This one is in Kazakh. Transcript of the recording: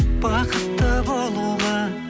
бақытты болуға